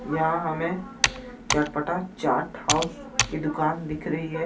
यहां हमें चटपटा चार्ट हाउस की दुकान दिख रही है. यहां